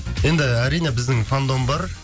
енді әрине біздің фандом бар